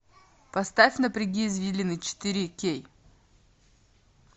поставь напряги извилины четыре кей